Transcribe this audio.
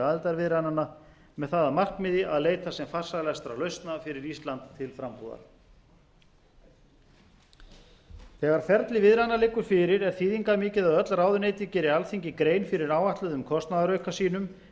aðildarviðræðnanna með það að markmiði að leita sem farsælastra lausna fyrir ísland til frambúðar þegar ferli viðræðnanna liggur fyrir er þýðingarmikið að öll ráðuneyti geri alþingi grein fyrir áætluðum kostnaðarauka sínum enda